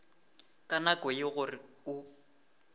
ka nako ye gore o